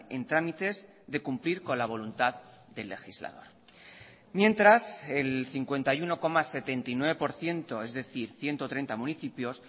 en trámites de cumplir con la voluntad del legislador mientras el cincuenta y uno coma setenta y nueve por ciento es decir ciento treinta municipios